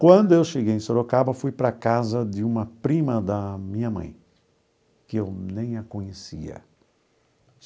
Quando eu cheguei em Sorocaba, fui para a casa de uma prima da minha mãe, que eu nem a conhecia.